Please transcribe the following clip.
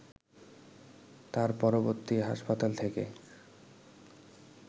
তার পরবর্তী হাসপাতাল থেকে